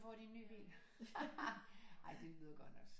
Får de en ny bil ej det lyder godt nok